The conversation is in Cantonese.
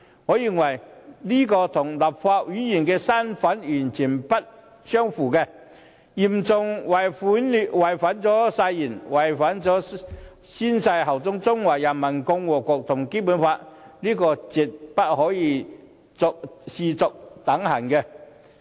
我認為這與立法會議員的身份完全不相符，嚴重違反了他們宣誓效忠中華人民共和國和《基本法》的誓言，絕對不可視作等閒。